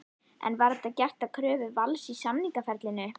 En var það gert að kröfu Vals í samningaferlinu?